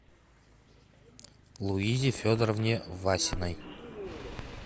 луизе федоровне васиной